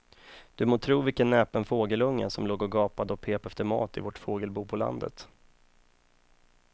Du må tro vilken näpen fågelunge som låg och gapade och pep efter mat i vårt fågelbo på landet.